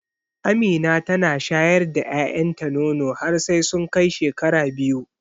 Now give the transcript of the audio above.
Amina tana shayar da ƴaƴan ta nono har sai sun kai shekara biyu.